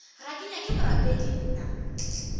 ga ke nyake borapedi nna